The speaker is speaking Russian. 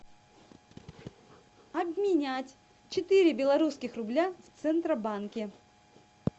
обменять четыре белорусских рубля в центробанке